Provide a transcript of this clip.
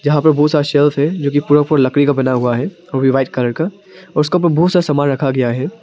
यहां पे बहुत सारा शेल्फ है जो कि पूरा पूरा लकड़ी का बना हुआ है वो भी व्हाइट कलर का और उसका उपर बहुत सारा सामान रखा गया है।